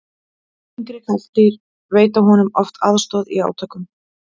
yngri karldýr veita honum oft aðstoð í átökum